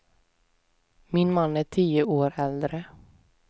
Min man är tio år äldre.